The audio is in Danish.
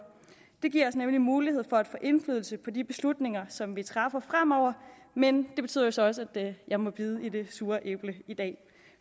det giver os nemlig mulighed for at få indflydelse på de beslutninger som vi træffer fremover men det betyder så også at jeg må bide i det sure æble i dag